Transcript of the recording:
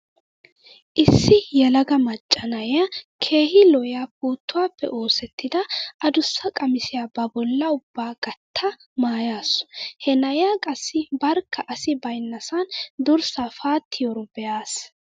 Issi yelaga macca na'iya keehi lo'iya puuttuwappe oosettida adussa qamisiya ba bollaa ubba gatta maayaasu. He na'iya qassi barkka asi baynnasan durssaa paattiyaro be'aas.